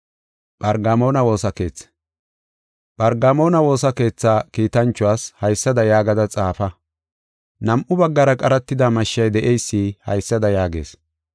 “Phargamoona woosa keethaa kiitanchuwas haysada yaagada xaafa. Nam7u baggara qaratida mashshay de7eysi haysada yaagees: